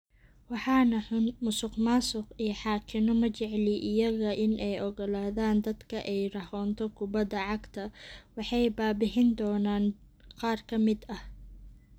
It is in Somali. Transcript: "Waxaa na-xun, musuqmaasuq, iyo xaakinno, ma jeceli iyaga in ay oggolaadaan dadka in ay rahoonto kubadda cagta, waxay baa-bixin doonaan qaar ka mid ah."